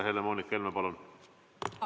Helle-Moonika Helme, palun!